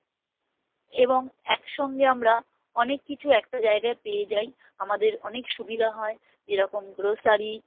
এবং একসঙ্গে আমরা অনেক কিছু একটা জায়গায় পেয়ে যাই আমাদের অনেক সুবিধা হয় যেরকম grocery